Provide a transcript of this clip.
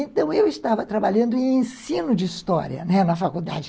Então eu estava trabalhando em Ensino de História, né, na faculdade.